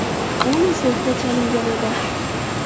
U insultga chalingan edi.